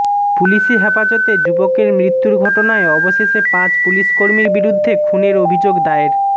পুলিশি হেফাজতে যুবকের মৃত্যুর ঘটনায় অবশেষে পাঁচ পুলিশকর্মীর বিরুদ্ধে খুনের অভিযোগ দায়ের